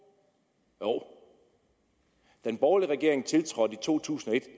jo den borgerlige regering tiltrådte i to tusind og et